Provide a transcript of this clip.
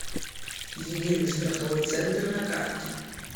единый страховой центр на карте